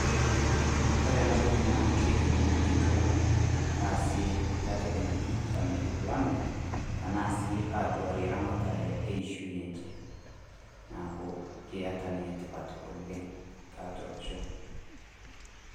Kore ena toki naa keitumia inkitua, aasie nkai entoki naji family planning anasiiyie aduarie ramatare eishoi enche, neaku keata ninye tipat oleng tiatua olosho.